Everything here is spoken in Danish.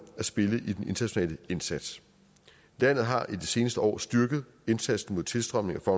at spille i den internationale indsats landet har i de seneste år styrket indsatsen mod tilstrømningen af